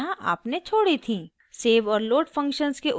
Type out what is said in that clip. save और load functions के उद्देश्य निम्न हैं: